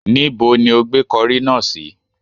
Níbo ni ó gbé kọrí náà sí?